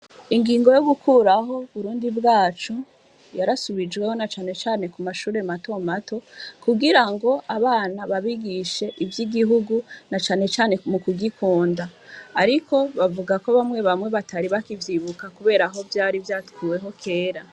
Ingingo yo gukuraho burundi bwacu yarasubijweho na canecane ku mashure mato mato kugira ngo abana babigishe ivyo igihugu na canecane mu kugikunda, ariko bavuga ko bamwe bamwe batari bakivyibuka kuberaho vyari vyatwuweho kera.